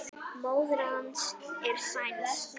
Móðir hans er sænsk.